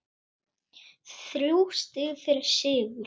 Þrjú stig fyrir sigur